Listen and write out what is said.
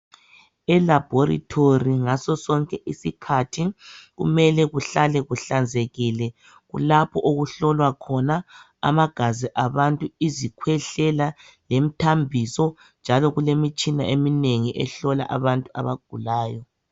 Elabhorithori ngaso sonke isikhathi kumele kuhlale kuhlanzekile kulapho okuhlolwa khona amagazi abantu izikhwehlela lemthambiso njalo kulemitshina eminengi ehlola abantu abagulayo.